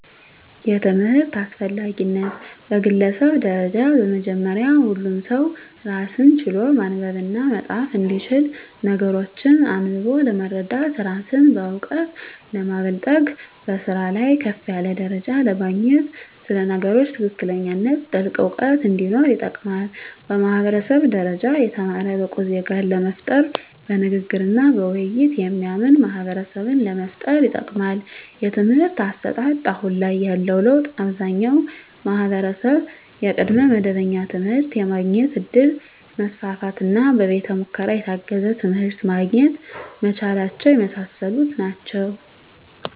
የትምህርት አስፈላጊነት በግለሰብ ደረጃ በመጀመሪያ ሁሉም ሰው ራስን ችሎ ማንበብና መፃፍ እንዲችል ነገሮችን አንብቦ ለመረዳት ራስን በእውቀት ለማበልፀግ በስራ ላይ ከፍ ያለ ደረጃ ለማግኘት ስለ ነገሮች ትክክለኛነትና ጥልቅ እውቀት እንዲኖር ይጠቅማል። በማህበረሰብ ደረጃ የተማረ ብቁ ዜጋን ለመፍጠር በንግግርና በውይይት የሚያምን ማህበረሰብን ለመፍጠር ይጠቅማል። የትምህርት አሰጣጥ አሁን ላይ ያለው ለውጥ አብዛኛው ማህበረሰብ የቅድመ መደበኛ ትምህርት የማግኘት እድል መስፋፋትና በቤተ ሙከራ የታገዘ ትምህርት ማግኘት መቻላቸው የመሳሰሉት ናቸው።